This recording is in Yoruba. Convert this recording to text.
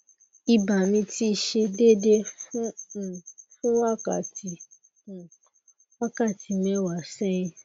iba mi ti se dede um fun wakati um wakati mewa sehin